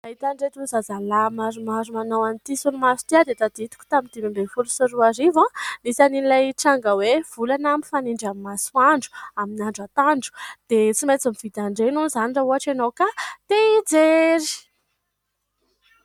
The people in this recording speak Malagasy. Mahita an'ireto zazalahy maromaro manao an'ity solomaso ity aho dia tadidiko tamin'ny dimy amby folo sy roarivo, nisy an'ilay tranga hoe volana mifanindry amin'ny masoandro amin'ny andro atoandro dia tsy maintsy mividy an'ireny hono izany raha ohatra ianao ka te hijery.